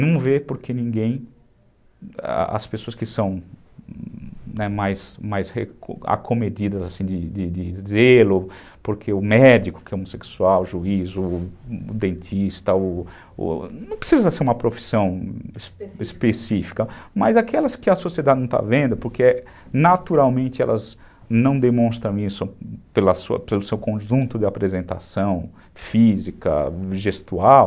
não vê porque ninguém, as pessoas que são mais mais acomedidas, assim, de de dizê-lo porque o médico que é homossexual o juiz, o dentista ou ou, não precisa ser uma profissão específica, mas aquelas que a sociedade não está vendo porque naturalmente elas não demonstram isso pela pelo seu conjunto de apresentação física, gestual